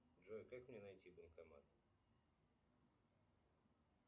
джой как мне найти банкомат